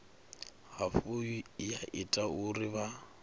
hafhu ya ita uri vha